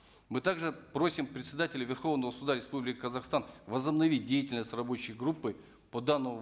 мы также просим председателя верховного суда республики казахстан возобновить деятельность рабочей группы по данному